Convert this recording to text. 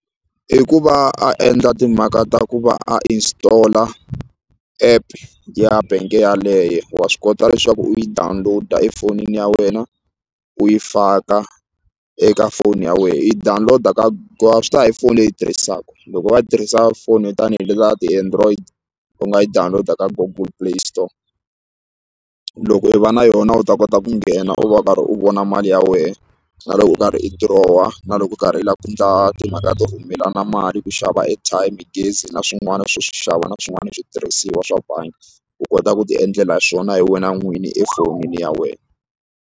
I ku va a endla timhaka ta ku va a installer app ya bank yeleyo wa swi kota leswaku u yi download-a efonini ya wena u yi faka eka foni ya wena i download ka swi ta ya hi foni leyi u yi tirhisaka loko u va u tirhisa foni tanihi leti ta ti-android u nga yi download ka google play store loko i va na yona u ta kota ku nghena u va u karhi u vona mali ya wehe na loko u karhi i dirowa na loko u karhi u lava ku endla timhaka to rhumelana mali ku xava airtime gezi na swin'wana swo swi xava na swin'wana switirhisiwa swa bangi u kota ku ti endlela hi swona hi wena n'wini efonini ya wena.